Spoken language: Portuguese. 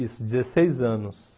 Isso, dezesseis anos.